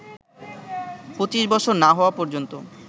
২৫ বছর না হওয়া পর্যন্ত